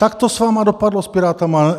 Tak to s vámi dopadlo, s Piráty.